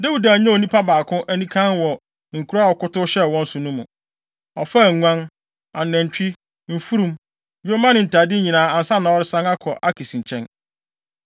Dawid annyaw onipa baako anikann wɔ nkuraa a ɔkɔtow hyɛɛ wɔn so no mu. Ɔfaa nguan, anantwi, mfurum, yoma ne ntade nyinaa ansa na ɔresan akɔ Akis nkyɛn.